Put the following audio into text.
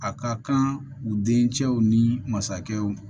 A ka kan u dencɛw ni masakɛw